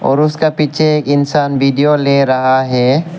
और उसका पीछे एक इंसान वीडियो ले रहा है।